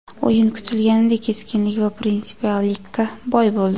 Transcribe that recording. O‘yin kutilganidek keskinlik va prinsipiallikka boy bo‘ldi.